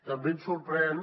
també ens sorprèn